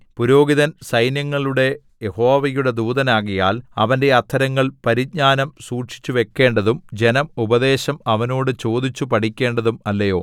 പുരോഹിതൻ സൈന്യങ്ങളുടെ യഹോവയുടെ ദൂതനാകയാൽ അവന്റെ അധരങ്ങൾ പരിജ്ഞാനം സൂക്ഷിച്ചുവെക്കേണ്ടതും ജനം ഉപദേശം അവനോട് ചോദിച്ചു പഠിക്കേണ്ടതും അല്ലയൊ